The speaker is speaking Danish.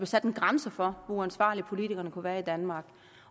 sat en grænse for hvor uansvarlige politikerne kunne være i danmark